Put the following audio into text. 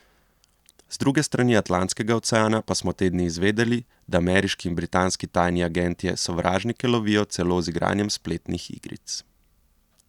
Z druge strani Atlantskega oceana pa smo te dni izvedeli, da ameriški in britanski tajni agentje sovražnike lovijo celo z igranjem spletnih igric!